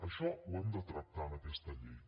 això ho hem de tractar en aquesta llei